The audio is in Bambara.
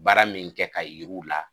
Baara min kɛ k'a yir'u la